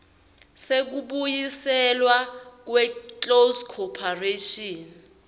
sekubuyiselwa kweclose corporation